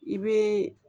I bɛ